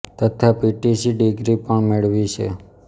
તથા P T C degree પણ મેળવી છે